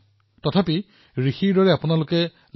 তথাপিও তেওঁলোকে পৰীক্ষাগাৰত ঋষিৰ দৰে কাম কৰি আছে